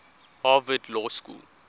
harvard law school